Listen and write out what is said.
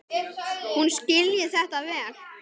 Hún skilji þetta vel.